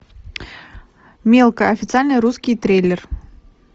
мелкая официальный русский трейлер